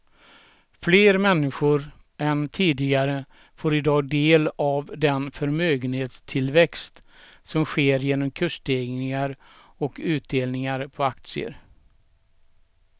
Fler människor än tidigare får i dag del av den förmögenhetstillväxt som sker genom kursstegringar och utdelningar på aktier.